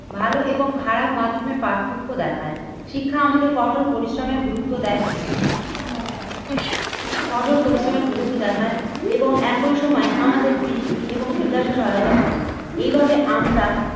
ভালো এবং খারাপ মাধ্যমের পার্থক্য দেখায়, শিক্ষা আমাদের কঠোর পরিশ্রমের গুরুত্ব দেয়। কঠোর পরিশ্রমের গুরুত্ব দেখায় এবং একই সময় আমাদের বৃদ্ধি এবং বিকাশ ও সহায়তা করে। এইভাবে আমরা